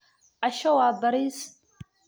Casho waa bariis.